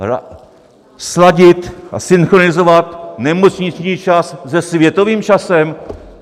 Sladit a synchronizovat nemocniční čas se světovým časem?